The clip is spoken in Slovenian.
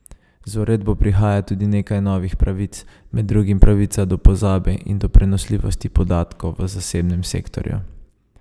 Z uredbo prihaja tudi nekaj novih pravic, med drugim pravica do pozabe in do prenosljivosti podatkov v zasebnem sektorju.